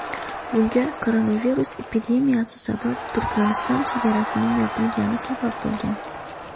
Bunga koronavirus epidemiyasi sabab Turkmaniston chegarasining yopilgani sabab bo‘lgan.